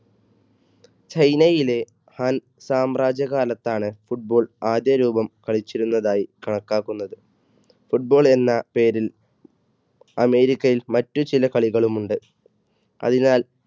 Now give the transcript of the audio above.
ചൈനയിലെ ഹാൻ സാമ്രാജ്യകാലത്താണ് football ആദ്യരൂപം കളിച്ചിരുന്നതായി കണക്കാക്കുന്നത്. football എന്ന പേരിൽ അമേരിക്കയിൽ മറ്റുചില കളികളും ഉണ്ട്. അതിനാൽ,